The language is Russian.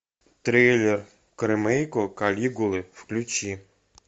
трейлер к ремейку калигулы включи